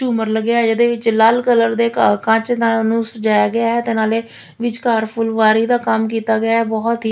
ਝੂਮਰ ਲੱਗਿਆ ਹੈ ਇਹਦੇ ਵਿਚ ਲਾਲ ਕਲਰ ਦੇ ਕਾ ਕਾਂਚ ਨਾਲ ਓਹਨੂੰ ਸਜਾਇਆ ਗਿਆ ਹੈ ਤੇ ਨਾਲੇ ਵਿਚਕਾਰ ਫੁੱਲਵਾਰੀ ਦਾ ਕੰਮ ਕਿੱਤਾ ਗਿਆ ਹੈ ਬਹੁਤ ਹੀ।